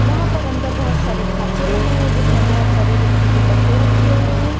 वहां पर अंदर बहोत सारे खांचे बने हैं जिसमें बहोत सारे दफ्ती के डब्बे रखे हुए हैं।